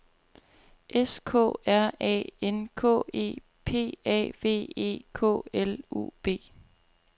S K R A N K E P A V E K L U B